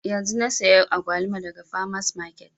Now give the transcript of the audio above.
Yanzun na saya agwaluma daga farmers market